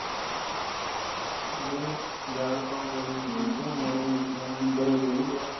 ਹੋਰ ਜਾ ਆਪਾ ਹੋਰ ਚੀਜਾਂ ਹੋ ਗਈਆਂ